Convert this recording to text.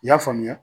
I y'a faamuya